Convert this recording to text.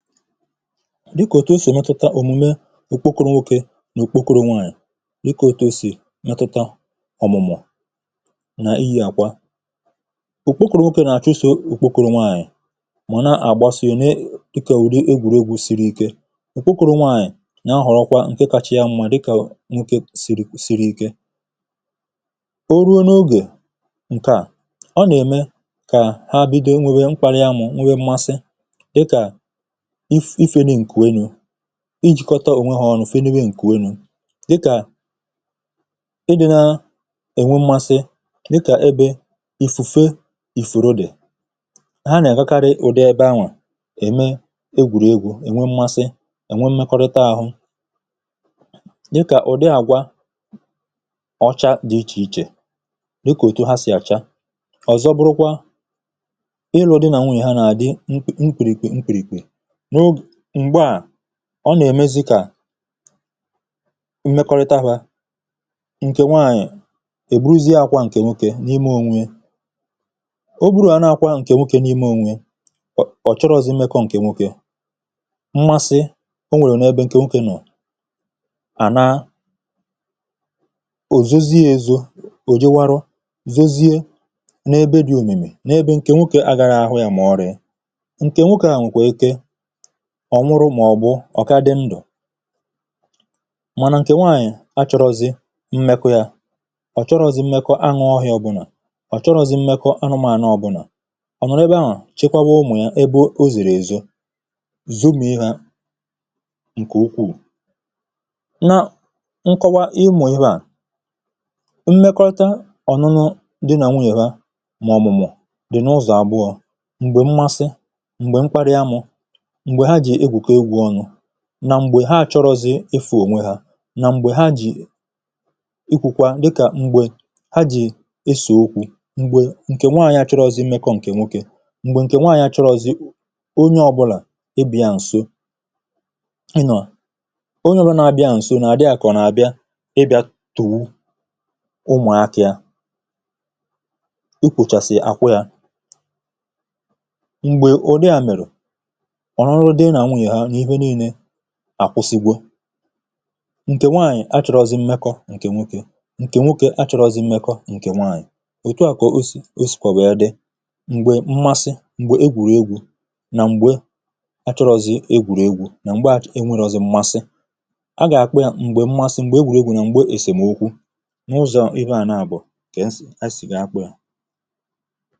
Dịkà òtù o sì metuta òmùme ukwokȯrȯ nwokė nà ukwokȯrȯ nwanyị̀. Dịkà òtù o sì metuta ọ̀mụ̀mụ̀ nà iyi̇ àkwa. ukwokȯrȯ nwokė nà-àchụ o sì ukwokȯrȯ nwanyị̀. Mà nà àgbasịrị ni, dịkà egwùregwu̇ siri Ike. Ukwokȯrȯ nwanyị̀ nà-ahọ̀rọkwa ǹke kachara mmȧ, dịkà nwokė siri Ike. Ò ruo n’ogè ǹkà, ọ nà-ème kà ha bido enwėbe mkparị amụ̀, nwėbe mmasị, dịkà ifenụ nkụ enu, ijìkọ̀tà ònwe ha ọ̀nụ̀,, fenwe nkùwe nụ. Dịkà ị dị̇ na ènwe mmasị, dịkà ebe ìfùfe ìfùrode. Ha nà-àgakarị ụ̀dị ebe ahụ̀, ème egwùrìegwu̇, ènwe mmasị, ènwe mmekọrịta àhụ, dịkà ụ̀dị àgwà ọcha dị iche iche, dịkà èto ha sì àcha. Ọ̀zọ bụrụkwa, ị lụ̇ dị nà nwunyè ha nà-àdị mkpìrìkwè mkpìrìkwè. M̀gbaà, ọ nà-èmezi kà mmekọrịta hȧ, nkè nwanyị̀ èburuzie akwà ǹkè nwoke n’ime ȯnwė ya. Ọ buru à na-akwà ǹkè nwoke n’ime ȯnwė, ọ̀ chọrọzị̇ mmekọ̇ ǹkè nwoke. Mmasị o nwèrè n’ebe ǹkè nwoke nọ̀, a na. O zọzie ezu̇, ò je, wara, zozie n’ebe dị̇ òmìmì, n’ebe ǹkè nwoke agara ahụ yȧ Mà ọ̀ rị̀ị. Nkè nwoke à nwịkwa eke, ọ̀ nwụrụ, mà ọ̀ bụ, ọ̀ ka dị ndụ̀. Mànà ǹkè nwaànyị̀ achọrọzị̇ mmekọ̇ yȧ, ọ̀ chọrọ̇zị̇ mmekọ̇ anụ̇ ọhịȧ ọ̇bụ̇nà, ọ̀ chọrọ̇zị̇ mmekọ̇ anụmȧnụ̇ ọ̇bụ̇nà. O nà nà ebe ahụ̀, chekwaba umù yȧ, ebe o zìrì èzo, zụmì ihė ǹkè ukwuù. Nà nkọwa imù ihe à, mmekọta ọ̀nụnụ dị nà nwunyè ha, mà ọ̀mụ̀mụ̀ dị n’ụzọ̀ àgbụọ̇. Ǹgbe mmasị, m̀gbè mkparị amụ̇, mgbe haa ji egwuko egwu onu nà m̀gbè ha chọrọzị̇ efù ònwe ha, nà m̀gbè ha jì ikwùkwà, dịkà m̀gbè ha jì esò okwu̇, mgbè ǹkè nwaànyị̀ a chọrọzị̇ mmekọ̇ ǹkè nwoke, m̀gbè ǹkè nwaànyị̀ a chọrọzị̇ onye ọbụlà ebì ya ǹso ị nọ̀. Onye ọ bụla na-abịa ǹso n’àdịà kọ̀ n’àbịa ịbịà tùwu, ụmụ̀akȧ ya, i kwùchàsị̀ akwịà. Mgbe udi a mere, ọṅụṅụ dị na nwunye na ife niile àkwụsịgwu̇. Ǹkè nwaànyị̀ achọrọ̇zị̇ mmekọ̇ ǹkè nwokė, ǹkè nwokė achọrọ̇zị̇ mmekọ̇ ǹkè nwaànyị̀, ètụ à kà o sìkwàbè yà wee dị mgbe mmasị, M̀gbè egwùregwu̇, nà mgbe achọrọ̇zị̇ egwùregwu̇, nà m̀gbè e nwėrọ̇zị̇ m̀masị. A gà-àkpụ yȧ M̀gbè mmasị, m̀gbè egwùregwu̇, nà m̀gbè èsèm̀okwu. N’ụzọ̀ ive à nà bù̀ ǹkè esì a kpụ̀.